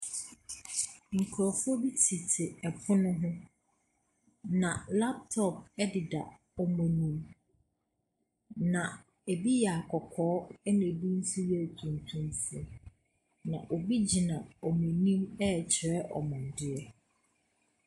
Nkurɔfoɔ bi tete pono bi ho, na laptop deda wɔn anim, na ebi yɛ akɔkɔɔ ɛnna bi nso yɛ atuntumfoɔ, na obi gyina wɔn anim rekyerɛ wɔn adeɛ.